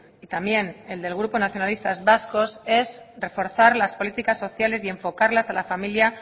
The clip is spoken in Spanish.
y también el del grupo nacionalistas vascos es reforzar las políticas sociales y enfocarlas a la familia